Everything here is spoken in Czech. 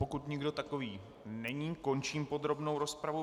Pokud nikdo takový není, končím podrobnou rozpravu.